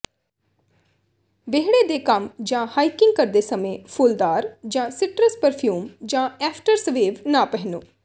ਵਿਹੜੇ ਦੇ ਕੰਮ ਜਾਂ ਹਾਈਕਿੰਗ ਕਰਦੇ ਸਮੇਂ ਫੁੱਲਦਾਰ ਜਾਂ ਸਿਟਰਸ ਪਰਫਿਊਮ ਜਾਂ ਐਫਟਰਸਵੇਵ ਨਾ ਪਹਿਨੋ